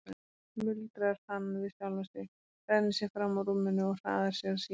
muldrar hann við sjálfan sig, rennir sér fram úr rúminu og hraðar sér að símanum.